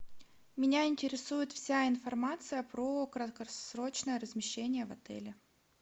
меня интересует вся информация про краткосрочное размещение в отеле